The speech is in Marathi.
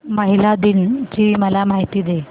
महिला दिन ची मला माहिती दे